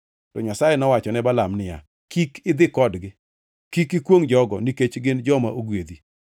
To Nyasaye nowacho ne Balaam niya, “Kik idhi kodgi. Kik ikwongʼ jogo, nikech gin joma ogwedhi.”